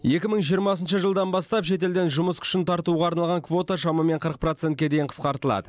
екі мың жиырмасыншы жылдан бастап шетелден жұмыс күшін тартуға арналған квота шамамен қырық процентке дейін қысқартылады